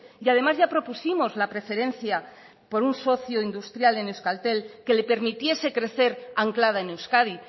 y además ya propusimos la preferencia por un socio industrial en euskaltel que le permitiese crecer anclada en euskadi